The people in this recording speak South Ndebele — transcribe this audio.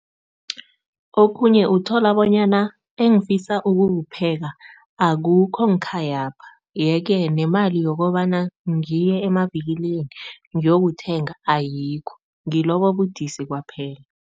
Okhunye uthola bonyana engifisa ukukupheka akukho ngekhayapha yeke nemali yokobana ngiye emavikilini ngiyokuthenga, ayikho. Ngilobo ubudisi kwaphela.